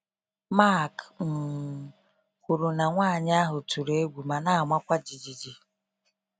Mark um kwuru na nwanyị ahụ tụrụ egwu ma na amakwa ijiji.